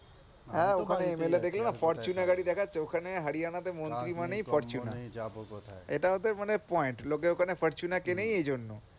হ্যাঁ ওখানে MLA দেখলেন ফরচুনা গাড়ি দেখাচ্ছে হ্যাঁ ওখানে মন্ত্রী মানে এটা ওদের পয়েন্ট লোকে ওখানে ফরচুনা কেনে এইজন্য